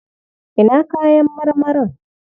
Ina kayan marmarin?